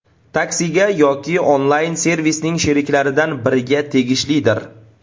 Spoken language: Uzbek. Taksi”ga yoki onlayn-servisning sheriklaridan biriga tegishlidir.